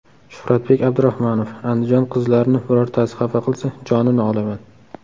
Shuhratbek Abdurahmonov: Andijon qizlarini birortasi xafa qilsa, jonini olaman.